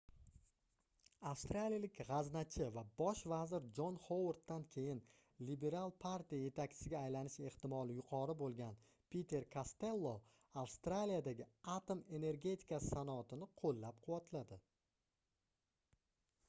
avstraliyalik gʻaznachi va bosh vazir jon hovarddan keyin lebiral partiya yetakchisiga aylanish ehtimoli yuqori boʻlgan piter kastello avstraliyadagi atom energetikasi sanoatini qoʻllab-quvvatladi